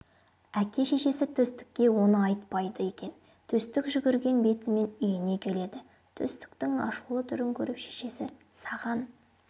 әке-шешесі төстікке оны айтпайды екен төстік жүгірген бетімен үйіне келеді төстіктің ашулы түрін көріп шешесі саған